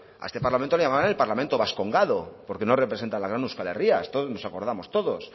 a este parlamento le llamaban el parlamento vascongado porque no representa a la gran euskal herria de esto nos acordamos todos